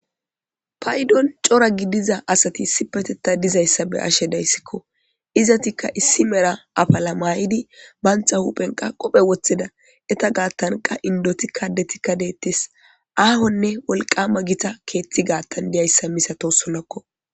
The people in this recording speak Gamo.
Payidon coora gidida asata be'ashe dayisiko izatika issi medha afila mayidi banita huphen qophe woxidies inita garisanka inidotin adetika de'etes ahonee woliqqama gitta ketha garisa do'oyisa misatosonako